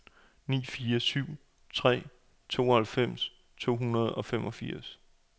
ni fire syv tre tooghalvfems to hundrede og femogfirs